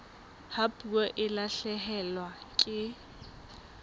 ha puo e lahlehelwa ke